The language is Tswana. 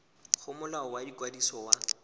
go molao wa ikwadiso wa